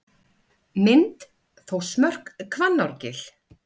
Mynd: Þórsmörk, Hvannárgil.